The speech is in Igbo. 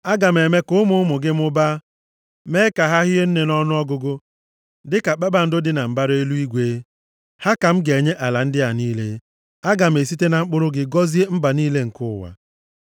Aga m eme ka ụmụ ụmụ gị mụbaa, mee ka ha hie nne nʼọnụọgụgụ dịka kpakpando dị na mbara eluigwe. Ha ka m ga-enye ala ndị a niile. Aga m esite na mkpụrụ gị gọzie mba niile nke ụwa.